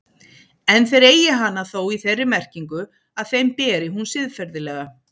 En þeir eigi hana þó í þeirri merkingu að þeim beri hún siðferðilega.